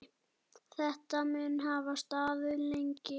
Þetta mun hafa staðið lengi.